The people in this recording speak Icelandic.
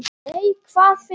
Nei, hvað finn ég!